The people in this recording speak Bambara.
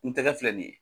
N tɛgɛ filɛ nin ye